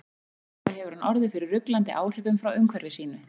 Trúlega hefur hann orðið fyrir ruglandi áhrifum frá umhverfi sínu.